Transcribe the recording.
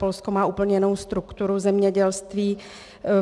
Polsko má úplně jinou strukturu zemědělství.